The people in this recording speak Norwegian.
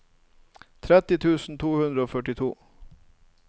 tretti tusen to hundre og førtito